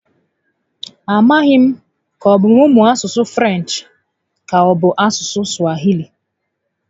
A maghị m ka ọbụ mụ mụọ asụsụ Frenchi ka ọbụ asụsụ Swahili?